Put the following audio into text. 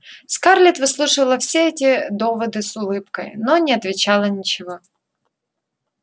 скарлетт выслушивала все эти доводы с улыбкой но не отвечала ничего